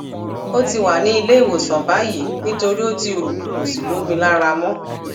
ó ti wà ní ilé ìwòsàn báyìí nítorí ó ti rú kò sí lómi lára mọ